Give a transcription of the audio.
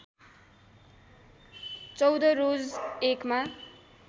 १४ रोज १ मा